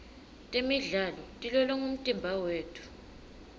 temidlalo tilolonga umtimba wetfu